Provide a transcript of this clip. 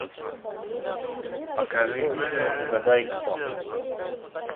покажи видео угадай кто